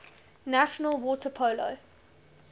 national water polo